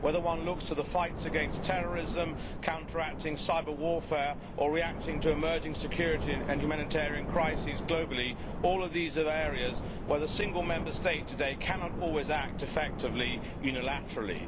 Whether one looks to the fight against terrorism, counteracting cyber warfare or reacting to emerging security and humanitarian crises globally, all of these are areas where the single Member State today cannot always act effectively unilaterally.